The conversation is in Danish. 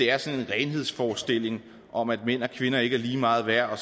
er sådan en renhedsforestilling om at mænd og kvinder ikke er lige meget værd